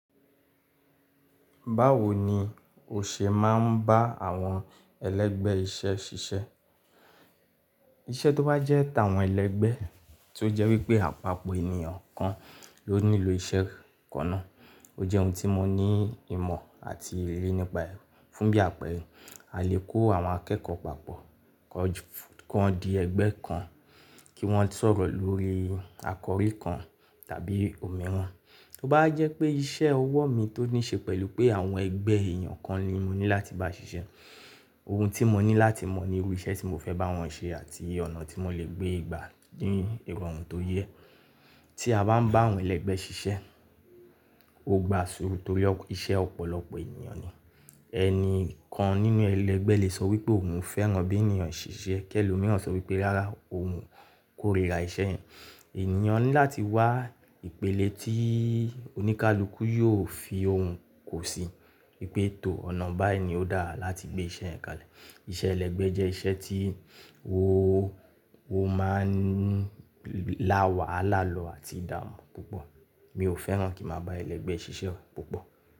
Báwo ni o ṣe máa ń bá àwọn ẹlẹ́gbẹ́ iṣẹ́ ṣiṣẹ́? Iṣẹ́ tó bá jẹ́ tàwọn ẹlẹ́gbẹ́ tí ó jẹ́ wípé àpapọ̀ ènìyàn kan ló nílò iṣẹ́ kan náà. Ó jẹ́ ohun tí mo ní ìmọ̀ àti èrè nípa fún bí àpẹẹrẹ, a lè kó àwọn akẹ́kọ̀ọ́ papọ̀ kó di ẹgbẹ́ kan kí wọ́n sọ̀rọ̀ lórí àkọrí kan tàbí omi ran To bá jẹ́ pé iṣẹ́ ọwọ́ mi tó ní ṣe pẹ̀lú pé àwọn ẹgbẹ́ èèyàn kan ni mo ní láti bá ṣiṣẹ́. Ohun tí mo ní láti mọ̀ ní irú iṣẹ́ tí mo fẹ́ bá wọn ṣe àti ọ̀nà tí mo lè gbé gbà ní ìrọ̀rùn tó yẹ. Tí a bá ń bá àwọn ẹlẹ́gbẹ́ ṣiṣẹ́, ó gba sùúrù torí iṣẹ́ ọ̀pọ̀lọpọ̀ ènìyàn ni. Ẹni kan nínú ẹlẹ́gbẹ́ lè sọ wípé òun fẹ́ràn bí ènìyàn ṣe ń ṣiṣẹ́, kí ẹlòmíràn sọ wípé rárá òun kórìíra iṣẹ́ yẹn. Ènìyàn ní láti wá ìpele tí oníkálukú yóò fi ohun kò sí. Wípé tò ọ̀nà báyìí ni ó dára láti gbé iṣẹ́ yẹn kalẹ̀. Iṣẹ́ ẹlẹ́gbẹ́ jẹ́ iṣẹ́ tí ó máa ń láwàálà lọ àti ìdààmú púpọ̀. Mi ò fẹ́ràn kí mo bá ẹlẹ́gbẹ́ ṣiṣẹ́ púpọ̀